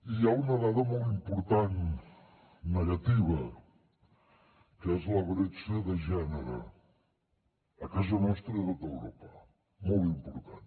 hi ha una dada molt important negativa que és la bretxa de gènere a casa nostra i a tot europa molt important